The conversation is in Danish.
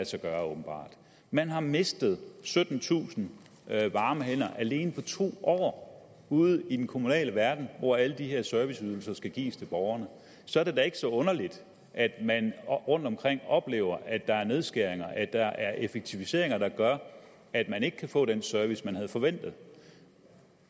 sig gøre man har mistet syttentusind varme hænder alene på to år ude i den kommunale verden hvor alle de her serviceydelser skal gives til borgerne så er det da ikke så underligt at man rundtomkring oplever at der er nedskæringer at der er effektiviseringer der gør at man ikke kan få den service man havde forventet